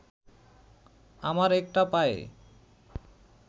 আমার একটা পায়ে